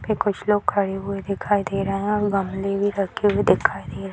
पे कुछ लोग खड़े हुए दिखाई दे रहे हैं अ गमले भी रखे हुए दिखाई दे रहे।